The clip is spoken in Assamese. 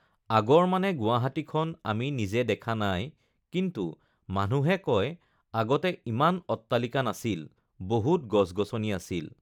আগৰ মানে গুৱাহাটীখন আমি নিজে দেখা নাই কিন্তু মানুহে কয় আগতে ইমান অট্টালিকা নাছিল, বহুত গছ-গছনি আছিল,